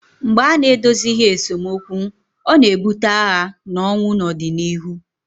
mgbe a na-edozighị esemokwu ọ na-ebute agha na ọnwụ n'ọdịnihu